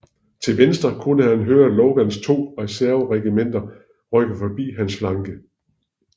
Til venstre kunne han høre Logans to reserveregimenter rykke forbi hans flanke